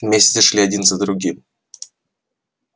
месяцы шли один за другим